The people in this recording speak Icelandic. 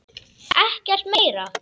Ekkert meira?